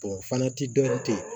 o fana ti dɔ tɛ yen